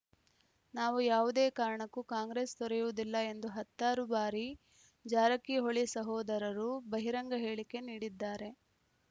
ನಾವು ಯಾವುದೇ ಕಾರಣಕ್ಕೂ ಕಾಂಗ್ರೆಸ್‌ ತೊರೆಯುವುದಿಲ್ಲ ಎಂದು ಹತ್ತಾರು ಬಾರಿ ಜಾರಕಿಹೊಳಿ ಸಹೋದರರು ಬಹಿರಂಗ ಹೇಳಿಕೆ ನೀಡಿದ್ದಾರೆ